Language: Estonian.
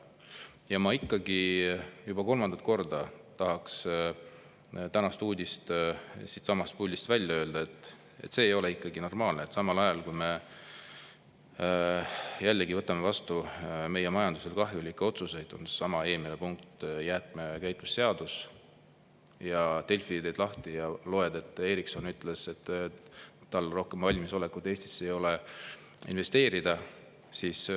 Ja ma ikkagi juba kolmandat korda tahaks siitsamast puldist välja öelda tänase uudise, et see ei ole normaalne, et samal ajal, kui me jälle võtame vastu meie majandusele kahjulikke otsuseid – seesama eelmine punkt, jäätmekäitlusseadus –, teed Delfi lahti ja loed, et Ericsson ütles, et tal ei ole rohkem valmisolekut Eestisse investeerida.